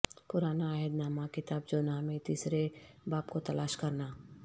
پرانا عہد نامہ کتاب جونہہ میں تیسرے باب کو تلاش کرنا